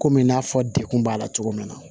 Komi n y'a fɔ dekun b'a la cogo min na